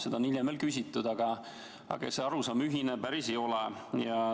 Seda on hiljem veel küsitud, aga see arusaam päris ühine ei ole.